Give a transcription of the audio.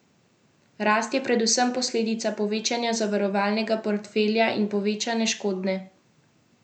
Rast je predvsem posledica povečanja zavarovalnega portfelja in povečane škodne pogostnosti.